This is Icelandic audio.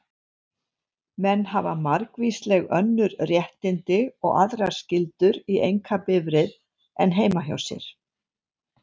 Menn hafa margvísleg önnur réttindi og aðrar skyldur í einkabifreið en heima hjá sér.